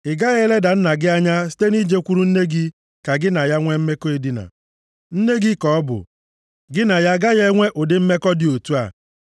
“ ‘Ị gaghị eleda nna gị anya site na i jekwuru nne gị ka gị na ya nwe mmekọ edina. Nne gị ka ọ bụ; gị na ya agaghị enwe ụdị mmekọ dị otu a.